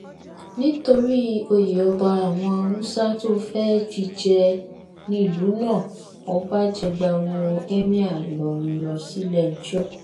nítorí oyè ọba àwọn haúsá tó fẹ́ fi jẹ nílùú náà ọba jẹgba wọ emir ìlọrin lọ síléẹjọ́